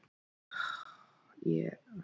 Er hægt að temja ljón?